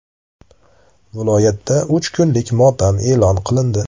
Viloyatda uch kunlik motam e’lon qilindi.